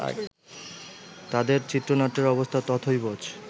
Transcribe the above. তাদের চিত্রনাট্যের অবস্থা তথৈবচ